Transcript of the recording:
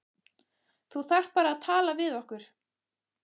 Þú þarft bara að tala við okkur.